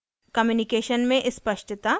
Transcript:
communication में स्पष्टता